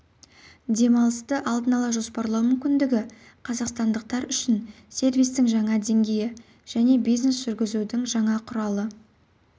демалысты алдын ала жоспарлау мүмкіндігі қазақстандықтар үшін сервистің жаңа деңгейі және бизнес жүргізудің жаңа құралы